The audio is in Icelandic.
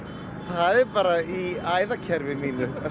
það er bara í æðakerfi mínu